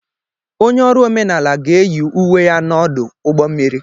Onye ọrụ omenala ga-eyi uwe ya n'ọdụ ụgbọ mmiri.